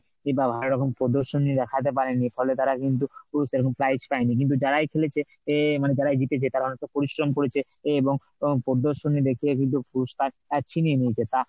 কিংবা ভালো রকম প্রদর্শনী দেখাতে পারিনি ফলে তারা কিন্তু সেরকম prize পায়নি। কিন্তু যারাই খেলেছে এ~ মানে যারাই জিতেছে তারা অনেকটা পরিশ্রম করেছে এবং উম প্রদর্শনী দেখিয়ে কিন্তু পুরস্কার ছিনিয়ে নিয়েছে। তা